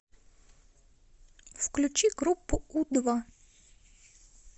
включи группу у два